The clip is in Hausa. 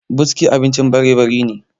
buski abincin barebari ne